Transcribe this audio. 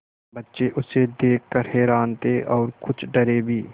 बच्चे उसे देख कर हैरान थे और कुछ डरे भी